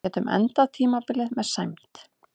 Getum endað tímabilið með sæmd